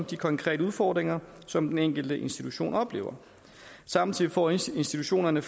de konkrete udfordringer som den enkelte institution oplever samtidig får institutionerne